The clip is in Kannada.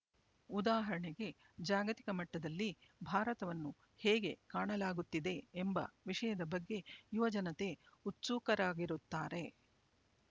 ಉದಾಹರಣೆಗೆ ಜಾಗತಿಕ ಮಟ್ಟದಲ್ಲಿ ಭಾರತವನ್ನು ಹೇಗೆ ಕಾಣಲಾಗುತ್ತಿದೆ ಎಂಬ ವಿಷಯದ ಬಗ್ಗೆ ಯುವ ಜನತೆ ಉತ್ಸುಕರಾಗಿರುತ್ತಾರೆ